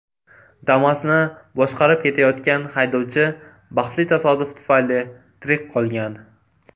Damas’ni boshqarib ketayotgan haydovchi baxtli tasodif tufayli tirik qolgan.